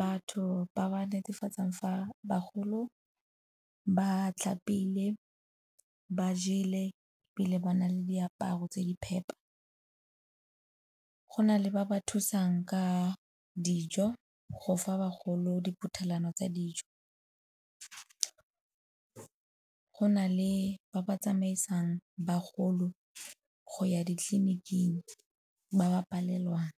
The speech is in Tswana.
batho ba ba netefatsang fa bagolo ba tlhapile, ba jele ebile ba na le diaparo tse di phepa. Go na le ba ba thusang ka dijo go fa bagolo diphuthelwana tsa dijo. Go na le ba ba tsamaisang bagolo go ya ditleliniking, ba ba palelwang.